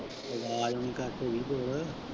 ਤੇ ਆਵਾਜ਼ ਹੁਣ ਘਟ ਹੋਗੀ ਹੋਰ।